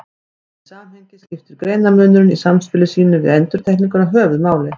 Í því samhengi skiptir greinarmunurinn í samspili sínu við endurtekninguna höfuðmáli.